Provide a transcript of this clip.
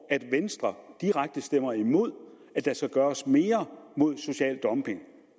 at venstre direkte stemmer imod at der skal gøres mere mod social dumping